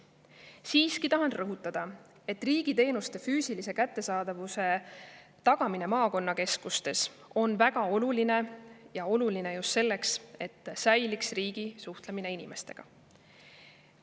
Siiski tahan rõhutada, et riigiteenuste füüsilise kättesaadavuse tagamine maakonnakeskustes on väga oluline, ja oluline just selleks, et säiliks riigi suhtlemine inimestega.